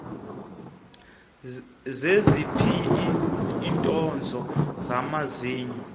zeziphi iinkonzo zamazinyo